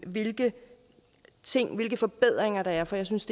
hvilke hvilke forbedringer der er for jeg synes